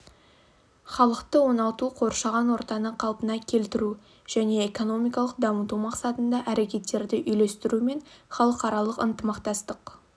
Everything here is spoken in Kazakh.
халықты оңалту қоршаған ортаны қалпына келтіру және экономикалық дамыту мақсатында әрекеттерді үйлестіру мен халықаралық ынтымақтастық